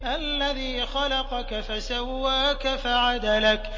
الَّذِي خَلَقَكَ فَسَوَّاكَ فَعَدَلَكَ